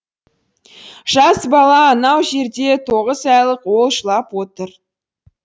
жас бала анау жерде тоғыз айлық ол жылап отыр